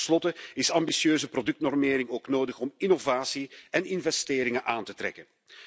Ten slotte is ambitieuze productnormering ook nodig om innovatie en investeringen aan te trekken.